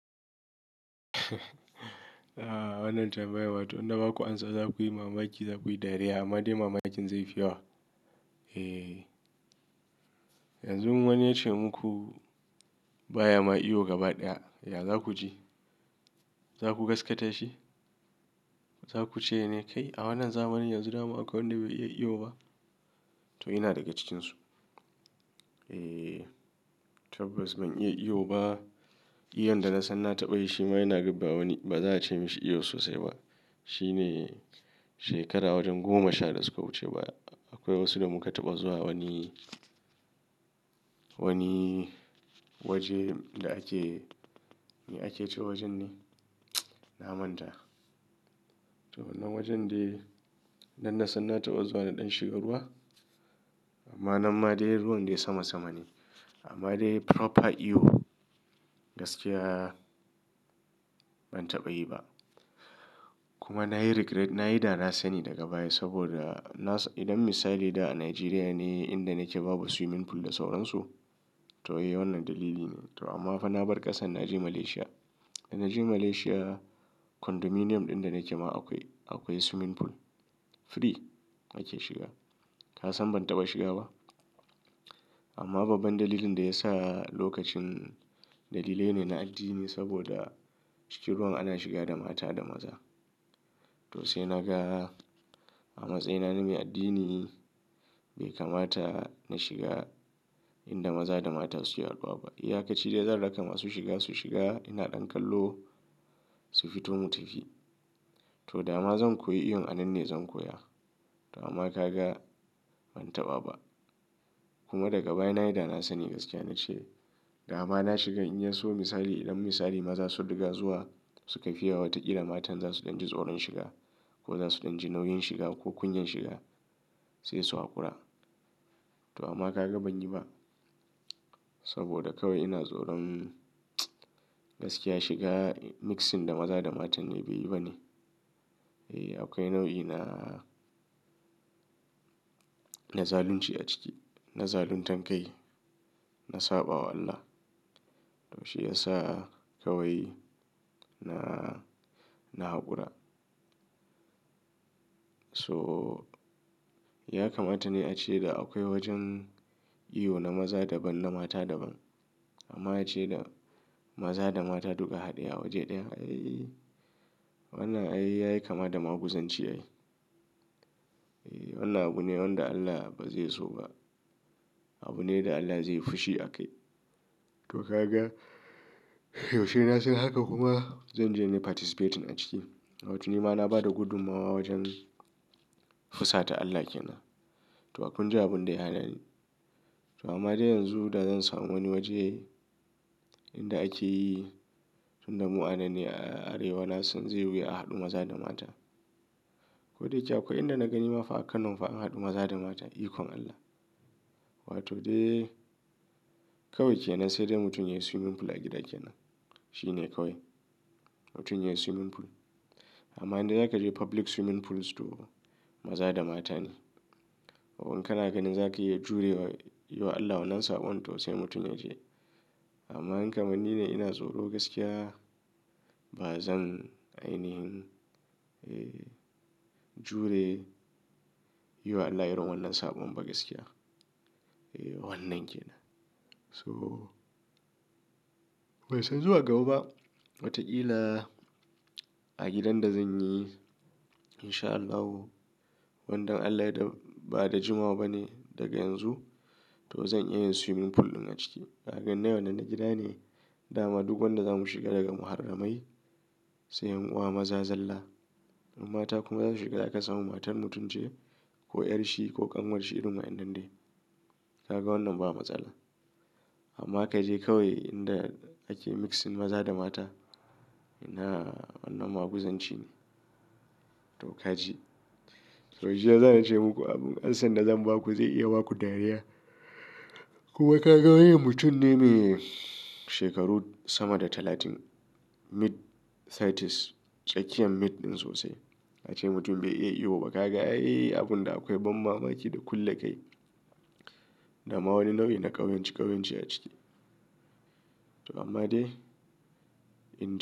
Ah wannan tambayan, wato in da ba ku ansa za ku yi mamaki, za ku yi dariya. Amma dai mamakin zai fiya wa. Eh, yanzu wani ya ce muku baya ma iyo gaba ɗaya, ya zaku ji? Za ku gaskata shi? Za ku ce ne kai a wannan zamanin yanzu dama akwai wanda bai iya iyo ba? To ina daga cikinsu. Eh, tabbas ban iya iyo ba. Iyon da na san na taɓa yi shi ma yana gabba wani, ba za a ce mishi iyo sosai ba. Shi ne shekara wajen goma sha da suka wuce ba. Akwai wasu da muka taɓa zuwa wani, wani waje da ake, me ake ce wajen ne? Na manta. To wannan wajen dai nan na san na taɓa zuwa na ɗan shiga ruwa. Amma nan ma dai ruwan dai sama sama ne. Amma dai proper iyo gaskiya ban taɓa yi ba. Kuma na yi regret, na yi dana sani daga baya saboda na, idan misali da a Nigeria ne inda nake babu swimming pool da sauran su, to eh wannan dalili ne. To amma fa na bar ƙasar na je Malaysia. Da na je Malaysia, condominium ɗin da nake ma akwai, akwai swimming pool. Free ake shiga. Ka san ban taɓa shiga ba? Amma babban dalilin da ya sa lokacin dalilai ne na addini saboda cikin ruwan ana shiga da mata da maza. To sai naga a matsayina na mai addini bai kamata na shiga inda maza da mata suke haɗuwa ba. Iya ka ci dai zan raka ma su shiga, su shiga ina ɗan kallo su fito mu tafi. To dama zan koyi iyo anan ne zan koya. To amma ka ga ban taɓa ba. Kuma daga baya na yi dana sani gaskiya na ce dama na shiga in ya so misali idan misali maza su riƙa zuwa su ka fiya wataƙila matan za su dan ji tsoron shiga ko za su dan ji nauyin shiga ko kunyan shiga sai su haƙura. To amma ka ga ban yi ba saboda kawai ina tsoron gaskiya shiga mixing da maza da mata ne bai yi ba ne. Eh akwai nau'i na, na zalunci a ciki, na zalun tankai, na saɓa wa Allah. To shi ya sa kawai na, na haƙura. To, ya kamata ne ace da akwai wajen iyo na maza daban na mata daban. Amma a ce da maza da mata duka haɗe a waje ɗaya, ayyi. Wannan ayyi yayi kama da maguzanci ayi. Eh wannan abu ne wanda Allah ba zai so ba. Abu ne da Allah zai yi fushi a kai. To ka ga yaushe na san haka kuma zan je ne participaten a ciki. But ni ma na ba da gudummawa wajen fusa ta Allah ke nan. To akunji abun da ya hana ni. To amma dai yanzu da zan samu wani waje inda ake yi tunda mu'anan ne a Arewa nasan zai yiwu a haɗu maza da mata. Ko dai yake akwai inda na gani ma fa a Kano fa an haɗu maza da mata ikon Allah. Wato dai kawai ke nan sai dai mutum yayi swimming pool a gida ke nan. Shi ne kawai. Mutum yayi swimming pool. Amma in dai zakaje public swimming pools to maza da mata ne ko in kana ganin za ka iya jure wa, yi wa Allah wannan saɓon to sai mutum ya je. Amma in kamar ni ne ina tsoro gaskiya ba zan ainihin, eh jure, yi wa Allah irin wannan saɓon ba gaskiya. Eh wannan kenan to bai san zuwa gaba ba. Wataƙila a gidan da zan yi insha Allahu, wandan Allah ya yadda ba da jimawa ba ne daga yanzu to zan iya yin swimming pool ɗin a ciki. Ka gan nayi wannan na gida ne. Dama duk wanda za mu shiga daga muharramai sai yan uwa maza zalla. In mata kuma za su shiga da aka samu matar mutum ce ko ƴar shi ko ƙanwar shi irin wa'innan dai. Ka ga wannan ba matsala. Amma ka je kawai inda ake mixing maza da mata ina wannan maguzanci ne. To ka je. To jiya sa nace muku abun ansan da zan ba ku zai iya ba ku dariya. Kuma ka ga wani mutum ne mai shekaru sama da talatin. Mid thirties. Tsakiyan mid ɗin sosai. A ce mutum bai iya iyo ba. Ka ga ayyi abun da akwai ban mamaki da kulle kai. Dama wani nau'i da ƙauyanci ƙauyanci a ciki. To amma dai inda.